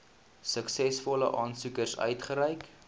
suksesvolle aansoekers uitgereik